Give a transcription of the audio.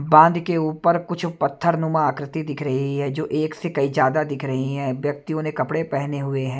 बांध के ऊपर कुछ पत्थर नुमा आकृति दिख रही है जो एक से कई ज्यादा दिख रही हैं व्यक्तियों ने कपड़े पहने हुए हैं।